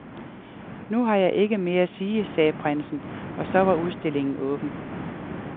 Nu har jeg ikke mere at sige, sagde prinsen, og så var udstillingen åben.